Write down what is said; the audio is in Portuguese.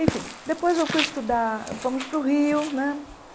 Enfim, depois eu fui estudar, fomos para o Rio, né?